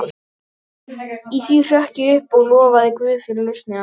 Í því hrökk ég upp og lofaði guð fyrir lausnina.